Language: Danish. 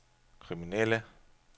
kriminelle